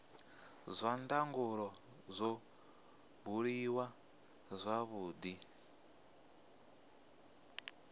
zwa ndangulo zwo buliwa zwavhudi